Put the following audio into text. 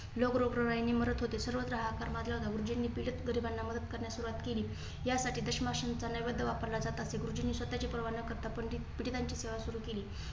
लोक रोगराईने मरत होती. सर्वत्र हाहाकार माजला होता गुरुजींनी पीडित गरीबांना मदत करण्यास सुरवात केली. यासाठी दश माशांचा नैवद्य वापरल्या जात असे. गुरुजींनी स्वतः ची पर्वा न करता पंडित पिडितांची सेवा सुरू केली.